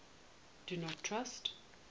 do not trust